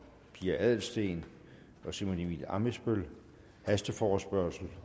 pia adelsteen og simon emil ammitzbøll hasteforespørgsel